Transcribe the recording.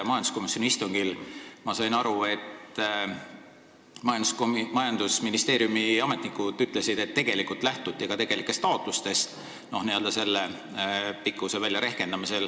Majanduskomisjoni istungil ütlesid majandusministeeriumi ametnikud, et selle pikkuse määramisel lähtuti tegelikest taotlustest.